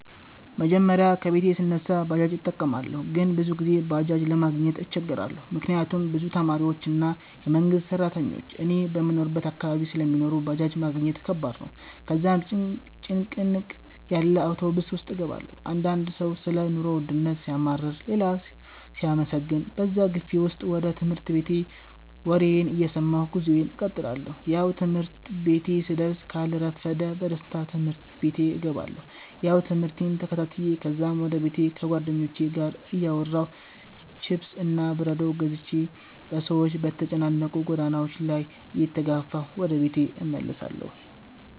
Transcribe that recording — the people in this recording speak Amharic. መጀመሪያ ከቤቴ ስነሳ ባጃጅ እጠቀማለሁ ግን ብዙ ጊዜ ባጄጅ ለማግኘት እቸገራለሁ፤ ምክንያት ብዙ ተማሪዎች እና የመንግሰት ስራተኞች እኔ በምኖርበት አካባቢ ስለሚኖሩ ባጃጅ ማግኘት ከባድ ነው፤ ከዛም ጭንቅንቅ ያለ አውቶብስ ውስጥ እገባለሁ። አንዳንድ ሰው ሰለ ኑሮ ወድነት ሲያማርር ሌላው ሲያመሰግን በዛ ግፊ ውስጥ ወደ ትምህርት ቤቴ ወሬየን እየሰማሁ ጉዞየን እቀጥላለሁ። ያው ትምህርት ቤቴ ስደስ ካልረፈደ በደስታ ትምህርት ቤቴ እገባለሁ። ያው ትምህርቴን ተከታትዮ ከዛም ወደ ቤቴ ከጉዋደኞቹቼ ጋር እያወራሁ፥ ችፕስ እና በረዶ ገዝቼ በሰዎች በተጨናነቁ ጎዳናዎች ላይ እየተጋፋሁ ወደ ቤቴ እመለሳለሁ